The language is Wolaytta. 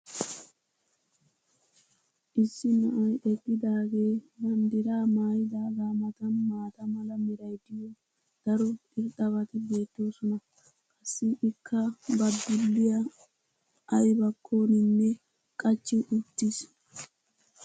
Issi na'ay eqqidaagee banddiraa maayidaagaa matan maata mala meray diyo daro irxxabati beetoosona. qassi ikka ba dulliya aybakkoniinne qachchi uttiis.